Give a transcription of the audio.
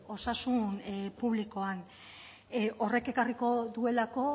osasun publikoan horrek ekarriko duelako